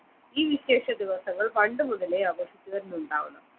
ഈ വിശേഷ ദിവസങ്ങൾ പണ്ട് മുതലേ ആഘോഷിച്ചു വരുന്നുണ്ടാവണം